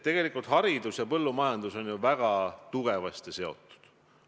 Tegelikult on ju haridus ja põllumajandus väga tugevasti seotud.